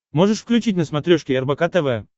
можешь включить на смотрешке рбк тв